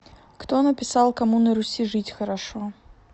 кто написал кому на руси жить хорошо